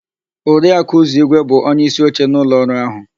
Oriaku Uzọigwe bụ onyeísíoche n'ụlọọrụ áhụ̀.